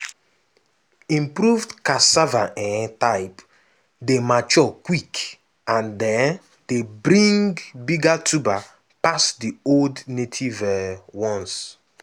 improved cassava um type dey mature quick and um dey bring bigger tuber pass the old native um ones.